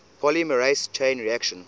polymerase chain reaction